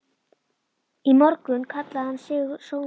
Í morgun kallaði hann sig Sónar.